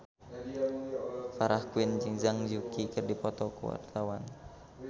Farah Quinn jeung Zhang Yuqi keur dipoto ku wartawan